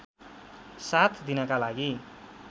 साथ दिनका लागि